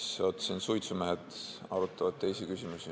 Vaatan, et siin suitsumehed arutavad teisi küsimusi.